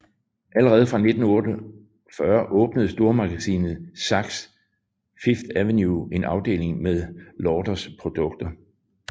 Allerede fra 1948 åbnede stormagasinet Saks Fifth Avenue en afdeling med Lauders produkter